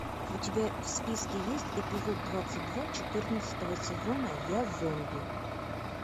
у тебя в списке есть эпизод двадцать два четырнадцатого сезона я зомби